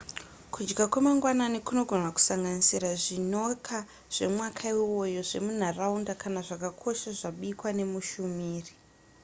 kudya kwemangwanani kunogona kusanganisira zvinoka zvemwaka iwoyo zvemunharaunda kana zvakakosha zvabikwa nemushumiri